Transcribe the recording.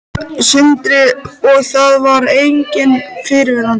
Sindri: Og það var enginn fyrirvari?